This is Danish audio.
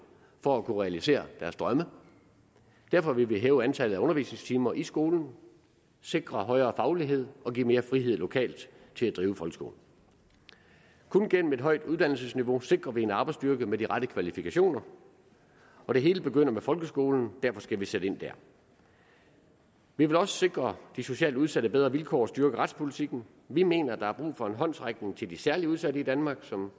for at kunne realisere deres drømme derfor vil vi hæve antallet af undervisningstimer i skolen sikre højere faglighed og give mere frihed lokalt til at drive folkeskolen kun gennem et højt uddannelsesniveau sikrer vi en arbejdsstyrke med de rette kvalifikationer og det hele begynder med folkeskolen derfor skal vi sætte ind dér vi vil også sikre de socialt udsatte bedre vilkår og styrke retspolitikken vi mener der er brug for en håndsrækning til de særlig udsatte i danmark som